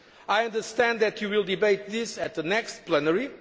I understand that you will debate this at the next plenary.